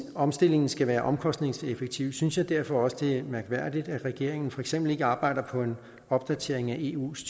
at omstillingen skal være omkostningseffektiv synes jeg derfor også det er mærkværdigt at regeringen for eksempel ikke arbejder på en opdatering af eus